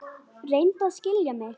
Reyndu að skilja mig.